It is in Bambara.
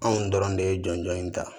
Anw dɔrɔn de ye jɔnjɔn in ta